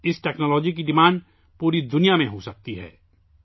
اس technology کی مانگ پوری دنیا میں ہوسکتی ہے